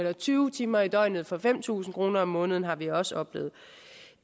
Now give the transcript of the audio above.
og tyve timer i døgnet for fem tusind kroner om måneden har vi også oplevet